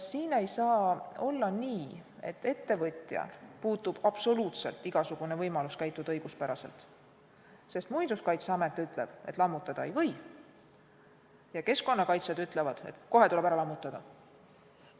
Siin ei saa olla nii, et ettevõtjal puudub absoluutselt igasugune võimalus käituda õiguspäraselt, sest Muinsuskaitseamet ütleb, et lammutada ei või, ja keskkonnakaitsjad ütlevad, et kohe tuleb ära lammutada.